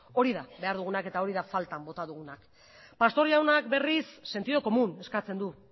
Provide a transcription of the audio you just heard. hori da behar dugunak eta hori da faltan bota dugunak pastor jaunak berriz sentido común eskatzen du